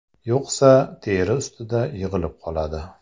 Yo‘qsa, teri ustida yig‘ilib qoladi.